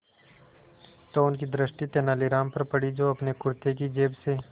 तो उनकी दृष्टि तेनालीराम पर पड़ी जो अपने कुर्ते की जेब से